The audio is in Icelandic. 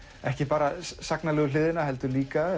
ekki bara hliðina heldur líka